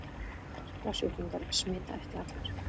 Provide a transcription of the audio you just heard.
Berklasjúklingar smita ekki allir.